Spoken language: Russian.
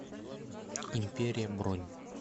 империя бронь